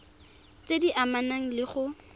tse di amanang le go